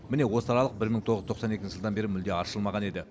міне осы аралық бір мың тоғыз жүз тоқсан екінші жылдан бері мүлде аршылмаған еді